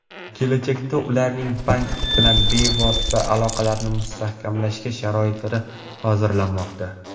Kelajakda ularning bank bilan bevosita aloqalarni mustahkamlashga sharoitlar hozirlanmoqda.